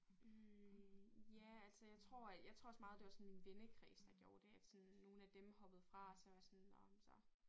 Hm ja altså jeg tror at jeg tror også meget det var sådan en vennekreds der gjorde det at sådan nogle af dem hoppede fra så var jeg sådan nåh men så